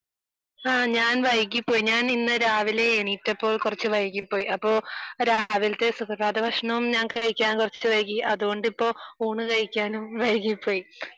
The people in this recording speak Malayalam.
നമ്മക്ക് അത് കഴിക്കണം എന്ന് എനിക്കും അതിയായ ആഗ്രഹമുണ്ട്